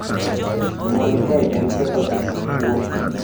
"Gima nikae en ketho pesa, kuo."